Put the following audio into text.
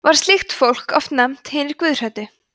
var slíkt fólk oft nefnt hinir guðhræddu